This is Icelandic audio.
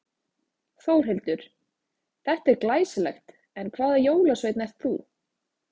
Þórhildur: Þetta er glæsilegt en hvaða jólasveinn ert þú?